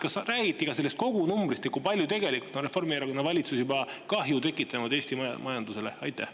Kas räägiti sellest kogu, kui palju tegelikult Reformierakonna valitsus on juba kahju tekitanud Eesti majandusele?